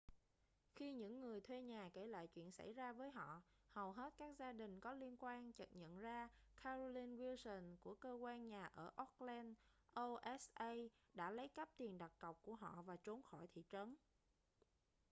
khi những người thuê nhà kể lại chuyện xảy ra với họ hầu hết các gia đình có liên quan chợt nhận ra carolyn wilson của cơ quan nhà ở oakland oha đã lấy cắp tiền đặt cọc của họ và trốn khỏi thị trấn